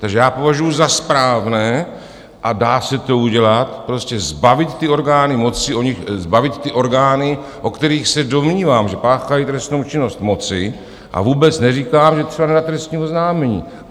Takže já považuji za správné, a dá se to udělat, prostě zbavit ty orgány moci, zbavit ty orgány, o kterých se domnívám, že páchají trestnou činnost, moci, a vůbec neříkám, že třeba nedám trestní oznámení.